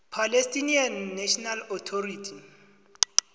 palestinian national authority